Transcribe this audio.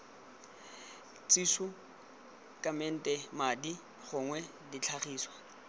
thišu kamete madi gongwe ditlhagiswa